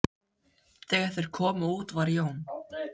Þegar þeir komu út var Jón